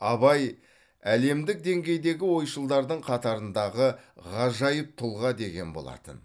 абай әлемдік деңгейдегі ойшылдардың қатарындағы ғажайып тұлға деген болатын